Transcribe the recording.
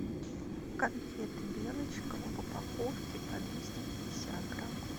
конфеты белочка в упаковке по двести пятьдесят грамм